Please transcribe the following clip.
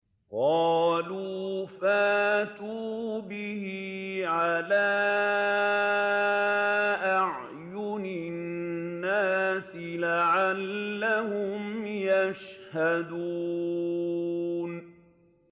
قَالُوا فَأْتُوا بِهِ عَلَىٰ أَعْيُنِ النَّاسِ لَعَلَّهُمْ يَشْهَدُونَ